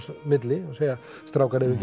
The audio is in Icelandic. milli og segja strákar eigum